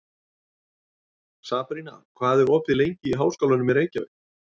Sabrína, hvað er opið lengi í Háskólanum í Reykjavík?